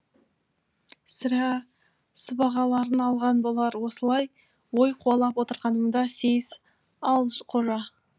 сірә сыбағаларын алған болар осылай ой қуалап отырғанымда сейіс ал қожа